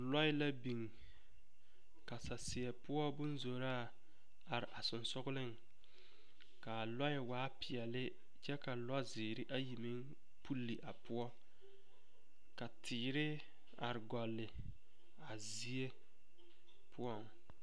Loɛ la biŋ ka saseɛ poɔ boŋ zoraa are a sensogleŋ ka a loɛ waa peɛle kyɛ ka lozeere ayi meŋ pɔlle a poɔ ka teere are golli a zie poɔŋ.